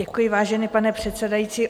Děkuji, vážený pane předsedající.